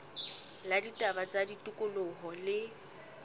la ditaba tsa tikoloho le